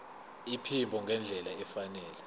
iphimbo ngendlela efanele